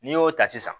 N'i y'o ta sisan